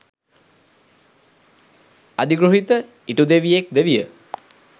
අධිගෘහිත ඉටුදෙවියෙක් ද විය.